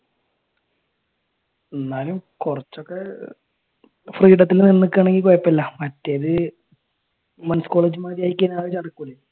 എന്നാലും കുറച്ചൊക്കെ ഫ്രീഡത്തിന് നിക്കുവാണേൽ കുഴപ്പം ഇല്ല മറ്റേത് men college മാതിരി ആയിക്കഴിഞ്ഞാൽ അത്